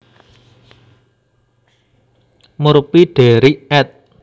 Murphy Derrick ed